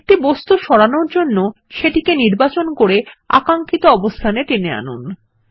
একটি বস্তু সরানোর জন্য সেটি নির্বাচন করে আকাঙ্ক্ষিত অবস্থান এ টেনে আনুন